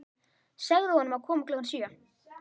Segðu honum að koma klukkan sjö.